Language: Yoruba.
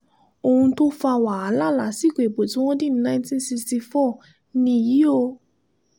ohun tó fa wàhálà lásìkò ìbò tí wọ́n dì ní nineteen sixty four nìyí o